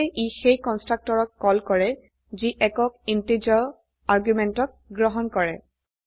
সেয়ে ই সেই কন্সট্ৰকটৰক কল কৰে যি একক ইন্টিজাৰ আৰ্গুমেন্টক গ্ৰহণ কৰে